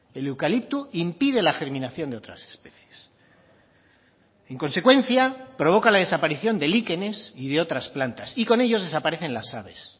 el eucalipto impide la germinación de otras especies en consecuencia provoca la desaparición de líquenes y de otras plantas y con ellos desaparecen las aves